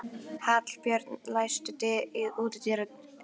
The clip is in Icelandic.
Hallbjörg, læstu útidyrunum.